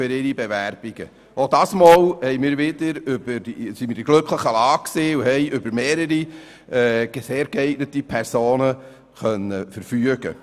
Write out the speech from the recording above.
Auch dieses Mal waren wir in der glücklichen Lage, aus mehreren sehr geeigneten Personen auswählen zu können.